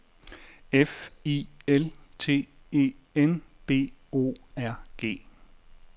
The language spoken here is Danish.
F I L T E N B O R G